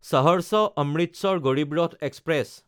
Saharsa-Amritsar Garib Rath express